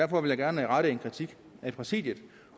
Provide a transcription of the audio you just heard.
gerne rette kritik mod præsidiet